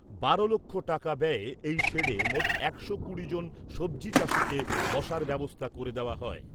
বারো লক্ষ টাকা ব্যয়ে এই শেডে মোট একশো কুড়ি জন সবজি চাষীকে বসার ব্যবস্থা করে দেওয়া হয়।